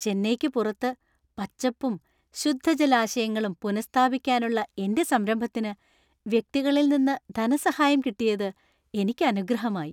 ചെന്നൈക്ക് പുറത്ത് പച്ചപ്പും ശുദ്ധജലാശയങ്ങളും പുനഃസ്ഥാപിക്കാനുള്ള എന്‍റെ സംരംഭത്തിന് വ്യക്തികളിൽ നിന്ന് ധനസഹായം കിട്ടിയത് എനിക്ക് അനുഗ്രഹമായി.